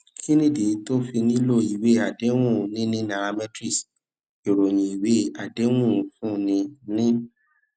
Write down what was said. kí nìdí tó o fi nílò ìwé àdéhùn níní nairametrics ìròyìn ìwé àdéhùn ń fúnni ní